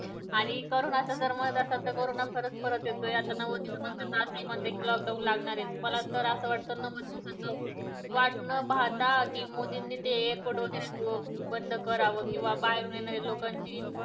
आणि करोनाच मत असेल तर करोना परत परत यतोय नव्वद दिवसांनी तर असं हि म्हणतायेत कि lock down लागणार ये मला तर असं वाटतं भारतात मोदींनी ते airport वगैरे बंद करावे किंवा बाहेरून येणाऱ्या लोकांची